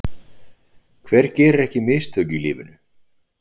Hver gerir ekki mistök í lífinu?